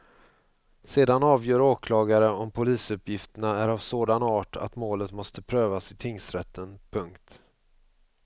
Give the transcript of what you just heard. Sedan avgör åklagare om polisuppgifterna är av sådan art att målet måste prövas i tingsrätten. punkt